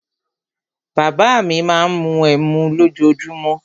Bàbá à mi má ń mu ẹmu lójoojúmó.